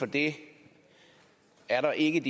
det er der ikke